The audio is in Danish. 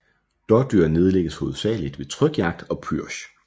Dådyr nedlægges hovedsagelig ved trykjagt og pürsch